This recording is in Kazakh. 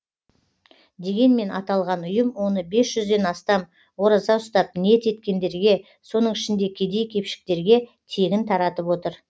дегенмен аталған ұйым оны бес жүзден астам ораза ұстап ниет еткендерге соның ішінде кедей кепшіктерге тегін таратып отыр